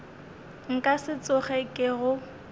nka se tsoge ke go